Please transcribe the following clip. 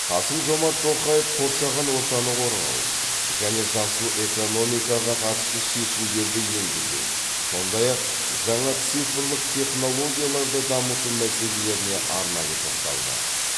қасым жомарт тоқаев қоршаған ортаны қорғау және жасыл экономикаға қатысты шешімдерді енгізу сондай ақ жаңа цифрлық технологияларды дамыту мәселелеріне арнайы тоқталды